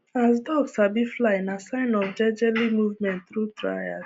as duck sabi fly nah sign of jejeli movement tru trials